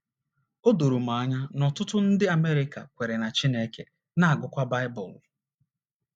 O doro m anya na ọtụtụ ndị Amerịka kweere na Chineke, na - agụkwa Baịbụl.